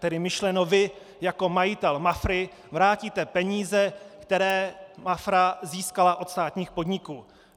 Tedy myšleno vy jako majitel MAFRA vrátíte peníze, které MAFRA získala od státních podniků.